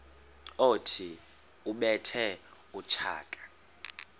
othi ubethe utshaka